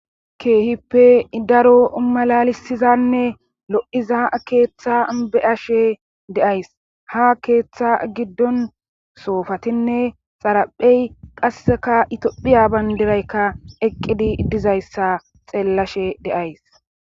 keehippe idaro malalisizanne lo7iza keeththa beashe deays ha keeththa giddon soofatinne xaraphey qasseka itophiya bayndiraykka eqqidi dizayssa xeellashe deays